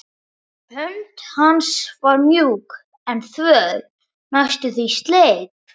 Hönd hans var mjúk en þvöl, næstum því sleip.